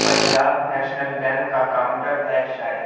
Punjab national bank का counter है शायद--